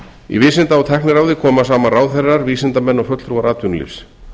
í vísinda og tækniráði koma saman ráðherrar vísindamenn og fulltrúar atvinnulífs